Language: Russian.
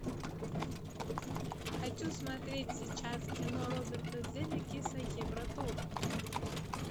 хочу смотреть сейчас кино роберта земекиса евротур